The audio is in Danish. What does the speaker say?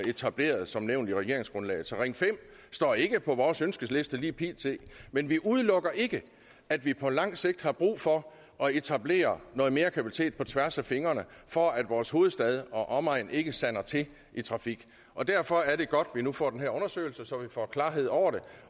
etableret som nævnt i regeringsgrundlaget så ring fem står ikke på vores ønskeliste lige pt men jeg udelukker ikke at vi på lang sigt har brug for at etablere noget mere kapacitet på tværs af fingrene for at vores hovedstad og omegn ikke sander til i trafik og derfor er det godt at vi nu får den her undersøgelse så vi får klarhed over det